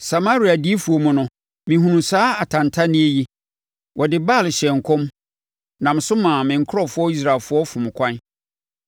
“Samaria adiyifoɔ mu no mehunuu saa atantanneɛ yi: Wɔde Baal hyɛɛ nkɔm nam so maa me nkurɔfoɔ Israelfoɔ fom ɛkwan.